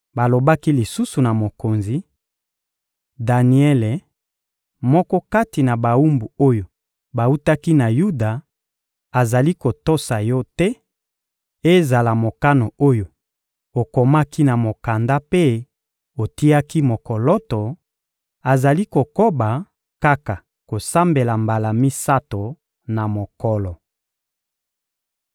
Balobaki lisusu na mokonzi: — Daniele, moko kati na bawumbu oyo bawutaki na Yuda, azali kotosa yo te, ezala mokano oyo okomaki na mokanda mpe otiaki mokoloto; azali kokoba kaka kosambela mbala misato na mokolo.